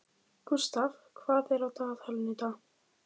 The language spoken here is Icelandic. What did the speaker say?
Gústav, hvað er á dagatalinu í dag?